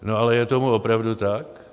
No ale je tomu opravdu tak?